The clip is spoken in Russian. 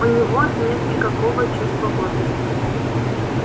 у него нет никакого чувства гордости